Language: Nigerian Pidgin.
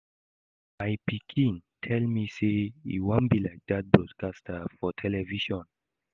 My pikin tell me say e wan be like dat broadcaster for television